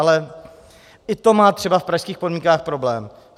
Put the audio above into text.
Ale i to má třeba v pražských podmínkách problém.